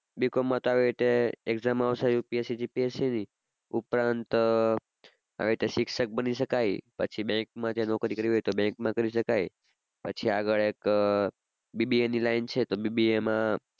Bcom માં તો આવી રીતે exam આવશે UPSC, GPSC ની ઉપરાંત આવી રીતે શિક્ષક બની શકાય પછી બેન્ક માં ત્યાં નોકરી કરવી હોય તો બેન્કમાં કરી શકાય પછી આગળ એક BBA ની લાઇન છે તો BBA માં